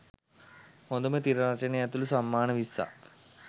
හොඳම තිර රචනය ඇතුළු සම්මාන විස්සක්